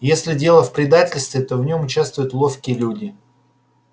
если дело в предательстве то в нём участвуют ловкие люди